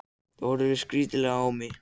Hún horfir skrítilega á mig.